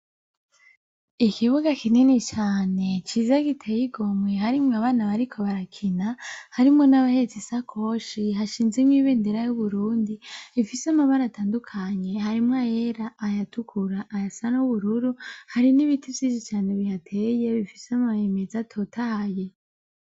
Ikibuga kinini cane, ciza giteye igomwe harimwo n'abana bariko barakina harimwo nabahetse ishakoshi hashinzemwo nibendera y'Uburundi ifise amabara atandukanye harimwo ayera ayatukura ayasa n'ubururu, harimwo nibiti vyiza cane bihateye bifise amababi atotahaye.